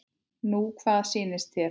Nú hvað sýnist þér.